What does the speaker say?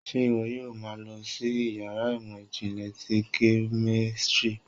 ṣe iwọ yóò má lọ sí iyàrá ìmọ jinle tí kemistri?